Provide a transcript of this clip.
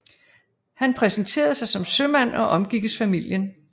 Han præsenterede sig som sømand og omgikkes familien